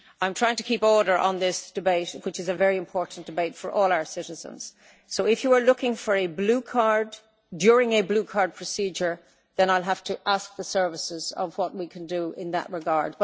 I am trying to keep order in this debate, which is a very important debate for all our citizens. If you were looking for a blue card during a blue card procedure, then I will have to ask the services what we can do in that regard.